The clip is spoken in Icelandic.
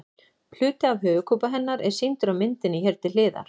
Hluti af höfuðkúpu hennar er sýndur á myndinni hér til hliðar.